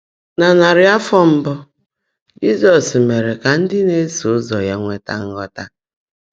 Nà nárị́ áfọ́ mbụ́, Jị́zọ́s meèré kà ndị́ ná-èsó ụ́zọ́ yá nwétá nghọ́tá.